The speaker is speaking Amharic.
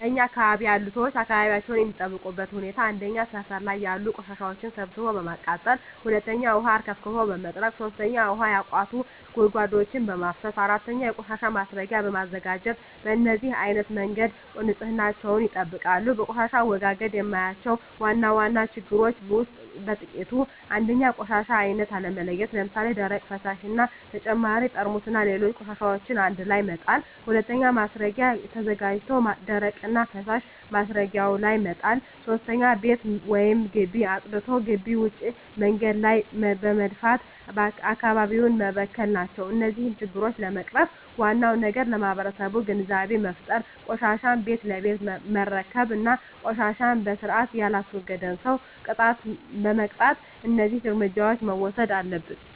እኛ አካባቢ ያሉ ሠዎች አካባቢያቸውን የሚጠብቁበት ሁኔታ 1. ሠፈር ላይ ያሉ ቆሻሻዎችን ሠብስቦ በማቃጠል 2. ውሀ አርከፍክፎ በመጥረግ 3. ውሀ ያቋቱ ጉድጓዶችን በማፋሠስ 4. የቆሻሻ ማስረጊያ በማዘጋጀት በነዚህ አይነት መንገድ ንፅህናቸውን ይጠብቃሉ። በቆሻሻ አወጋገድ የማያቸው ዋና ዋና ችግሮች ውስጥ በጥቂቱ 1. የቆሻሻ አይነት አለመለየት ለምሣሌ፦ ደረቅ፣ ፈሣሽ እና በተጨማሪ ጠርሙስና ሌሎች ቆሻሻዎችን አንድላይ መጣል። 2. ማስረጊያ ተዘጋጅቶ ደረቅና ፈሣሽ ማስረጊያው ላይ መጣል። 3. ቤት ወይም ግቢ አፅድቶ ግቢ ውጭ መንገድ ላይ በመድፋት አካባቢውን መበከል ናቸው። እነዚህን ችግሮች ለመቅረፍ ዋናው ነገር ለማህበረሠቡ ግንዛቤ መፍጠር፤ ቆሻሻን ቤት ለቤት መረከብ እና ቆሻሻን በስርአት የላስወገደን ሠው መቅጣት። እደዚህ እርምጃዎች መውሠድ አለብን።